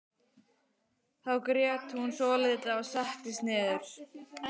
Þá grét hún svolítið og settist niður.